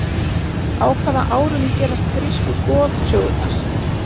á hvaða árum gerast grísku goðsögurnar